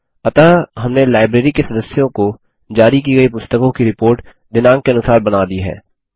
अतः हमने लाइब्रेरी के सदस्यों को जारी की गई पुस्तकों की रिपोर्ट दिनाँक के अनुसार बना ली है